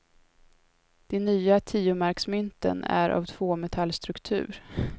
De nya tiomarksmynten är av tvåmetallstruktur.